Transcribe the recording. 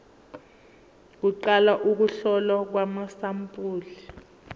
kuqala ukuhlolwa kwamasampuli